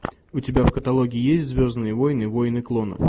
у тебя в каталоге есть звездные войны войны клонов